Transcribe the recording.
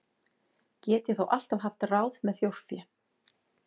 Get ég þó alltaf haft ráð með þjórfé.